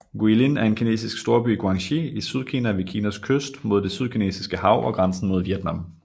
Guilin er en kinesisk storby i Guangxi i Sydkina ved Kinas kyst mod Det Sydkinesiske Hav og grænsen mod Vietnam